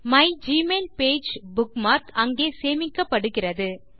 மைக்மெயில்பேஜ் bookmark அங்கே சேமிக்கப்படுகிறது